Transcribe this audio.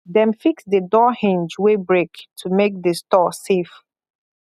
dem fix the door hinge wey break to make the store safe